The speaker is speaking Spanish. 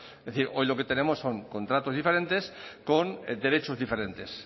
es decir hoy lo que tenemos son contratos diferentes con derechos diferentes